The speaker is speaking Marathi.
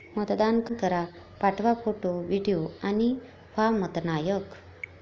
मतदान करा...पाठवा फोटो, व्हिडिओ आणि व्हा मतनायक!